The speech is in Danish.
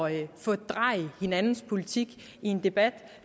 at fordreje hinandens politik i en debat